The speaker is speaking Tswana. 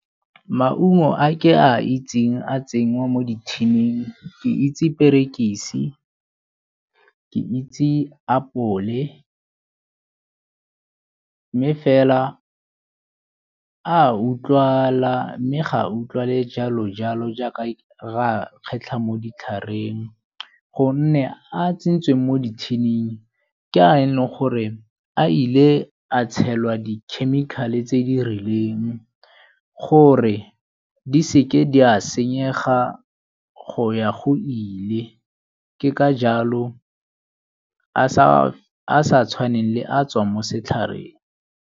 Maungo a ke a itseng a tsenngwa mo di-tin-ing kd itse perekisi, ke itse apole, mme fela a utlwala mme ga utlwale jalo jalo jaaka ge re a kgetlha mo ditlhareng gonne a tsetswe mo di-tin-ing ke a e le gore a ile a tshelwa di-chemical-e tse di rileng gore di seke di a senyega go ya go ile, ke ka jalo a sa tshwaneng le a tswang mo setlhareng.